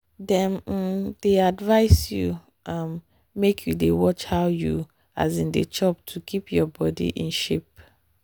dem um dey advise you um make you dey watch how you um dey chop to keep your body in shape.